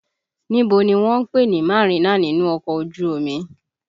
Níbo ni wọ́n ń pè ní Marina nínú ọkọ̀ ojú omi?